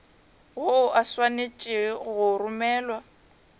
woo o swanetše go romelwa